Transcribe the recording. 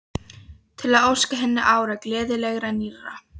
Til að óska henni ára, gleðilegra, nýrra.